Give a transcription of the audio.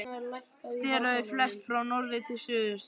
Sneru þau flest frá norðri til suðurs.